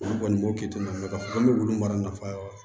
Olu kɔni b'o kɛtogo min na ka wolon nafa